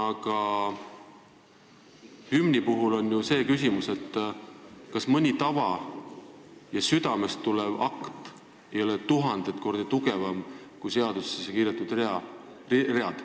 Aga hümni puhul on ju see küsimus, kas mõni tava ja südamest tulev akt ei ole tuhandeid kordi tugevam kui seadusesse kirjutatud read.